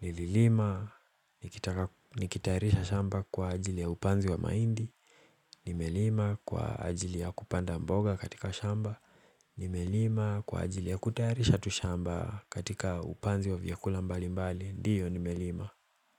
Nililima, nikitaka nikitayarisha shamba kwa ajili ya upanzi wa mahindi. Nime lima kwa ajili ya kupanda mboga katika shamba. Nimelima kwa ajili ya kutayarisha tu shamba katika upanzi wa vyakula mbalimbali. Ndiyo, nime lima.